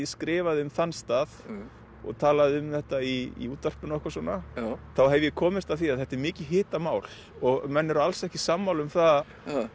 skrifaði um þann stað og talaði um þetta í útvarpinu og eitthvað svona þá hef ég komist að því að þetta er mikið hitamál og menn eru alls ekki sammála um það